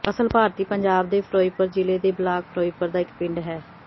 ਅਸਲ ਭਾਰਤੀ ਪੰਜਾਬ ਦੇ ਫਿਰੋਜ਼ਪੁਰ ਜ਼ਿਲ੍ਹੇ ਦੇ ਬਲਾਕ ਫਿਰੋਜ਼ਪੁਰ ਦਾ ਇੱਕ ਪਿੰਡ ਹੈ